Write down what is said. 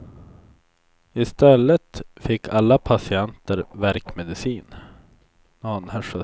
I stället fick alla patienter värkmedicin.